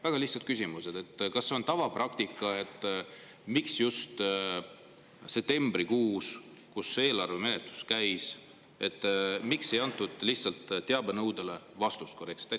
Väga lihtsad küsimused: kas see on tavapraktika ja miks just septembrikuus, kui eelarve menetlus käis, ei antud lihtsalt teabenõudele korrektselt vastust?